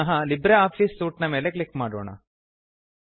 ಪುನಃ LibreOffice suite ಮೇಲೆ click ಮಾಡೋಣ